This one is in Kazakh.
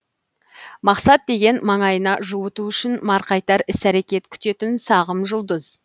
мақсат деген маңайына жуыту үшін марқайтар іс әрекет күтетін сағым жұлдыз